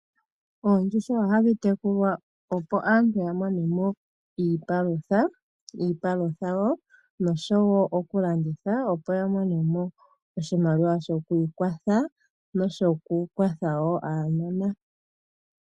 Oondjuhwa ohadhi tekulwa opo aantu yiimonene iipalutha osho woo okulandithwa opo aantu ya mone mo oshimaliwa shokwiikwatha noku kwatha aanona.